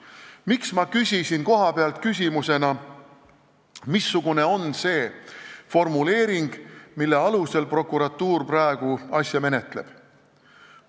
Miks ma küsisin kohapealt, missugune on see formuleering, mille alusel prokuratuur praegu asja menetleb?